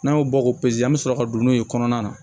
N'an y'o bɔ k'o an bɛ sɔrɔ ka don n'o ye kɔnɔna na